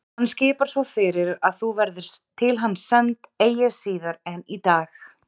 Hann skipar svo fyrir að þú verðir til hans send eigi síðar en í dag.